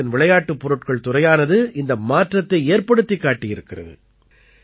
பாரதத்தின் விளையாட்டுப் பொருட்கள் துறையானது இந்த மாற்றத்தை ஏற்படுத்திக் காட்டியிருக்கிறது